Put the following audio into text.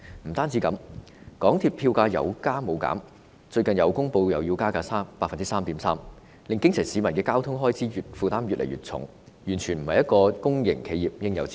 不單如此，港鐵票價有加無減，最近又公布會加價 3.3%， 令基層市民的交通開支負擔越來越重，完全不是公營企業的應有之道。